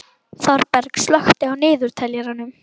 Þorberg, slökktu á niðurteljaranum.